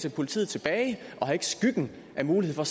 af politiet tilbage og har ikke skyggen af mulighed for